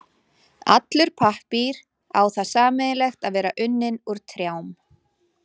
Allur pappír á það sameiginlegt að vera unninn úr trjám.